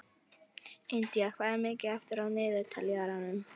Indía, hvað er mikið eftir af niðurteljaranum?